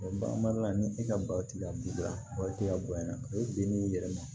bagan mara la ni e ka batigi ka du la baw tɛ ka bonya o bin'i yɛrɛ ma